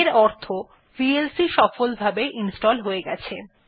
এর অর্থ ভিএলসি সফলভাবে ইনস্টল হয়ে গেছে